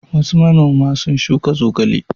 Wasu manoma sun shuka zogale.